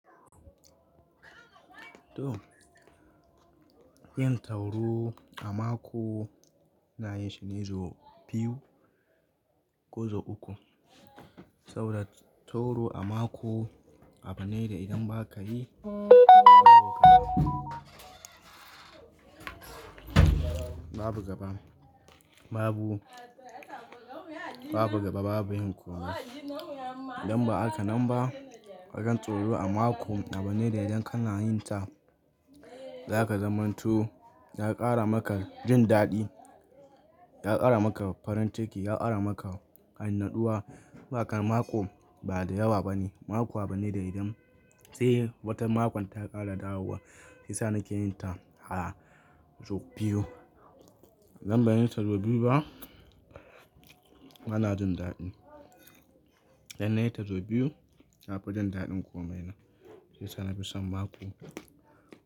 To yin taro a mako na yi shine sau biyu ko sau uku. Saboda taro a mako a bane da idan ba ka yi babu gaba babu, babu gaba babu himƙo. Idan ba haka nan ba, hakan taro a mako a bane da idan kana yin ta, za ka zamantu, ya ƙara maka jin daɗi, ya ƙara maka farin ciki, ya ƙara maka annaduwa. Hakan mako ba da yawa bane, mako a bane da idan sai watan makon ta ƙara dawowa. Shiyasa ni ke yin ta a sau biyu. Idan ba nayi ta sau biyu ba, bana jin daɗi. Idan nayi ta sau biyu, na fi jin daɗin komai na. Sai sa na fi son mako.